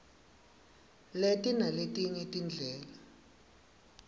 leti naletinye tindlela